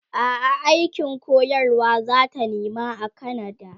a'a aikin koyarwa zata nema a kanada